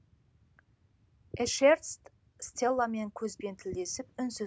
эшерст стелламен көзбен тілдесіп үнсіз